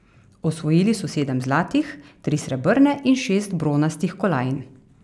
Osvojili so sedem zlatih, tri srebrne in šest bronastih kolajn.